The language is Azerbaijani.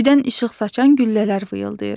Göydən işıq saçan güllələr vıyıldayır.